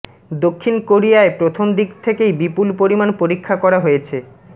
দক্ষিণ কোরিয়ায় প্রথমদিক থেকেই বিপুল পরিমাণ পরীক্ষা করা হয়েছে